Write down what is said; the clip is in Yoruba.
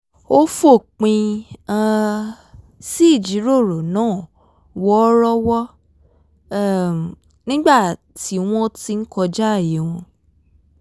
ó fòpin um sí ìjíròrò náà wọ̣́ọ́rọ́wọ́ um nígbà tí wọ́n ti ń kọjáàyè wọn